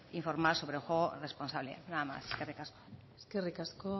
informar sobre el juego responsable nada más eskerrik asko eskerrik asko